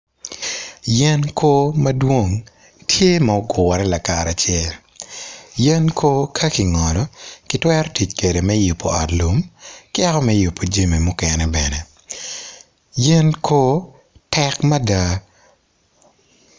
Yen koo madwong tye ma ogure lakaracel yen koo ka kingolo gitwero tic kwede me yubo ot lum ka yako me yubo jami mukene bene yen koo tek mada